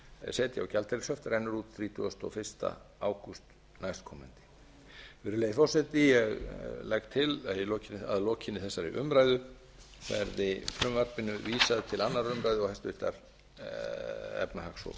setja á gjaldeyrishöft rennur út þrítugasta og fyrsta ágúst næstkomandi virðulegi forseti ég legg til að að lokinni þessari umræðu verði frumvarpinu vísað til annarrar umræðu og háttvirtrar efnahags og skattanefndar